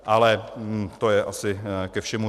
Ale to je asi ke všemu.